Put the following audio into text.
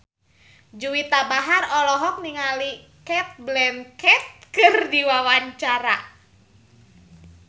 Juwita Bahar olohok ningali Cate Blanchett keur diwawancara